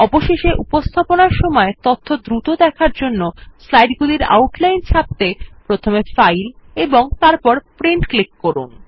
অবশেষে উপস্থাপনার সময় তথ্য দ্রুত দেখার জন্য স্লাইড গুলির আউটলাইন ছাপতে প্রথমে ফাইল এবং তারপর প্রিন্ট করুন